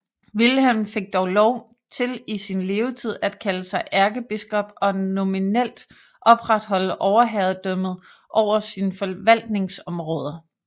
Wilhelm fik dog lov til i sin levetid at kalde sig ærkebiskop og nominelt opretholde overherredømmet over sine forvaltningsområder